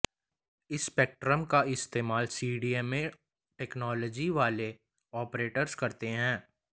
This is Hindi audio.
इस स्पेक्ट्रम का इस्तेमाल सीडीएमए टेक्नोलॉजी वाले ऑपरेटर्स करते हैं